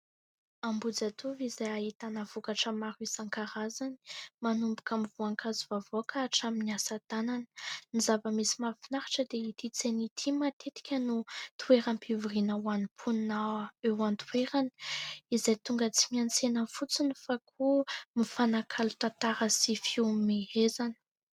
Ambohijatovo izay ahitana vokatra maro isan-karazany, manomboka amin'ny voankazo, hatramin'ny asa tanana. Ny zava-misy mahafinaritra dia ity tsena ity matetika no toeram-pivoriana ho an'ny mponina eo an-toerana izay tonga tsy miantsena fotsiny fa koa mifanakalo tantara sy fihomehezana.